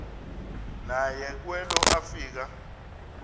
naye kwelo afika